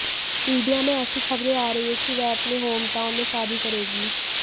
media में एेसी खबरे आ रही है कि वह अपने हॉम टाउन में शादी करेगी